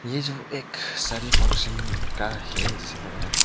ये जो एक सारी फंक्शन का है जैसा लग रहा है।